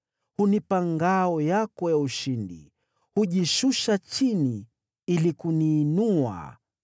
Hunipa ngao yako ya ushindi, unajishusha chini ili kuniinua.